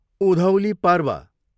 Udhauli Parv